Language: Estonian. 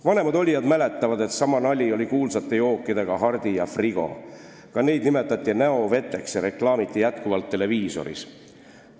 Vanemad olijad mäletavad, et sama nali oli kuulsate jookidega Hardi ja Frigo, ka neid nimetati näoveeks ja reklaamiti jätkuvalt televiisoris.